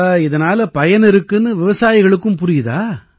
அப்ப இதனால பயனிருக்குன்னு விவசாயிகளுக்கும் புரியுதா